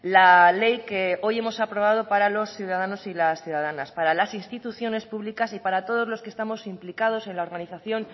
la ley que hoy hemos aprobado para los ciudadanos y las ciudadanas para las instituciones públicas y para todos los que estamos implicados en la organización